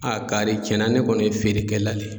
A kari tiɲɛna ne kɔni ye feere kɛ la de ye.